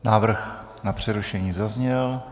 Návrh na přerušení zazněl.